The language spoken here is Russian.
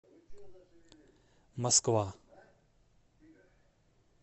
москва